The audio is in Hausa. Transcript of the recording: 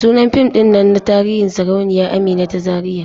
Sunan fim din nan na tarihi Sarauniya Amina ta Zariya.